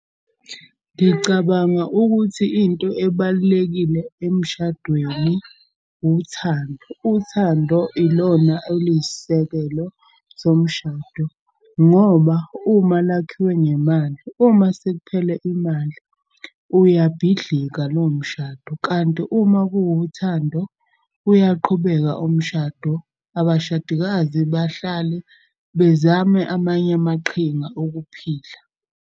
Ngicabanga ukuthi into ebalulekile emshadweni uthando. Uthando ilona oluyisisekelo somshado. Ngoba uma lakhiwe ngemali, uma sekuphele imali uyabhidlika lowo mshado. Kanti uma kuwuthando uyaqhubeka umshado. Abashadikazi bahlale bezame amanye amaqhinga okuphila.